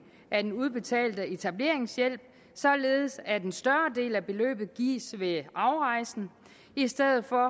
af den udbetalte etableringshjælp således at en større del af beløbet gives ved afrejsen i stedet for